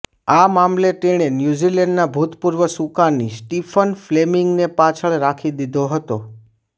આ મામલે તેણે ન્યૂઝીલેન્ડના ભૂતપૂર્વ સુકાની સ્ટિફન ફ્લેમિંગને પાછળ રાખી દીધો હતો